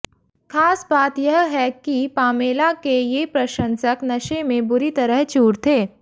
खास बात यह है कि पामेला के ये प्रशंसक नशे में बुरी तरह चूर थे